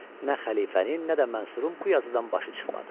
Nə xəlifənin, nə də Mansurun bu yazıdan başı çıxmadı.